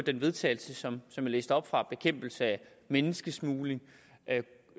til vedtagelse som jeg læste op fra bekæmpelse af menneskesmugling